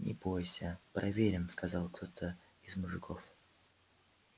не бойся проверим сказал кто-то из мужиков